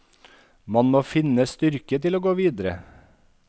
Man må finne styrke til å gå videre.